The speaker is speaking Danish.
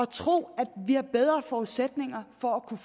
tro at vi har bedre forudsætninger for at kunne